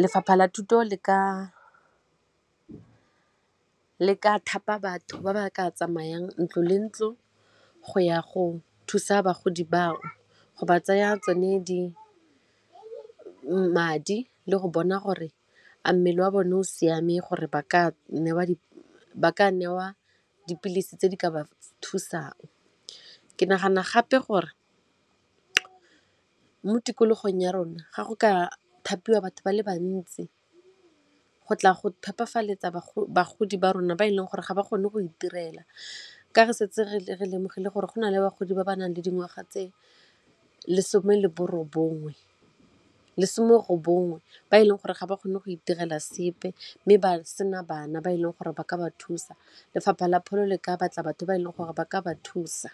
Lefapha la thuto le ka thapa batho ba ba ka tsamayang ntlo le ntlo go ya go thusa bagodi ba go ba tsaya tsone madi le go bona gore a mmele wa bone o siame gore ba ka newa ba ka newa dipilisi tse di ka ba thusang. Ke nagana gape gore mo tikologong ya rona ga go ka thapiwa batho ba le bantsi go tla go phepafaletsa bagolo ba rona ba e leng gore ga ba kgone go itirela ka re setse re re ke lemogile gore go na le bagodi ba ba nang le dingwaga tse lesome le borobongwe ba e leng gore ga ba kgone go itirela sepe mme ba sena bana ba e leng gore ba ka ba thusa lefapha la pholo le ka batla batho ba e leng gore ba ka ba thusa.